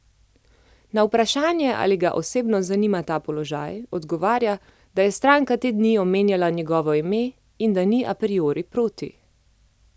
Na vprašanje, ali ga osebno zanima ta položaj, odgovarja, da je stranka te dni omenjala njegovo ime in da ni a priori proti.